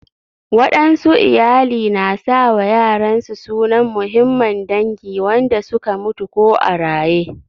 Waɗansu iyali na sa wa yaran su sunan muhimman dangi wanda su ka mutu ko a raƴe.